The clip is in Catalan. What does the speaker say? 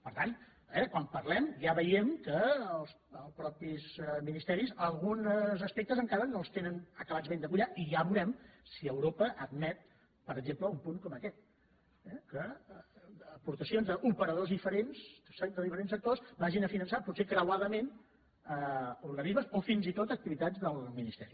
per tant eh quan parlem ja veiem que els mateixos ministeris alguns aspectes en·cara no els tenen ben acabats de collar i ja veurem si europa admet per exemple un punt com aquest que aportacions d’operadors diferents de diferents sectors vagin a finançar potser creuadament organismes o fins i tot activitats del ministeri